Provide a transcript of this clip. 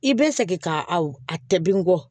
I bɛ segin ka aw tɛ bin bɔ